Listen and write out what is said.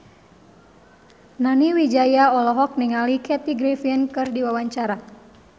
Nani Wijaya olohok ningali Kathy Griffin keur diwawancara